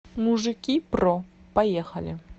мужики про поехали